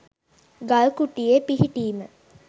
ගල් කුට්ටියේ පිහිටීම